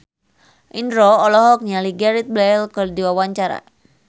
Indro olohok ningali Gareth Bale keur diwawancara